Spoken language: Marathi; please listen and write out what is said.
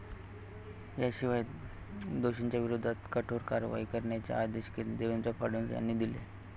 याशिवाय दोषींच्या विरोधात कठोर कारवाई करण्याचे आदेश देवेंद्र फडणवीस यांनी दिले.